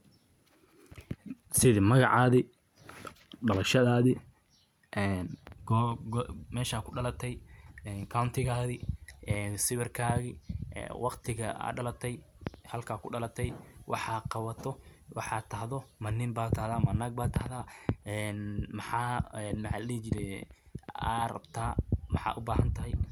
Sidhaa magacadi dalashadadi mesha kudalate County tiikagi sidha siwirkaagi walhtiga aad dalate halka ku dalate waxa qawato waxa tahdo ma nin mataha ma naag bataha maxa aan maxa la dihijire maxa rabtaa ubahantahay.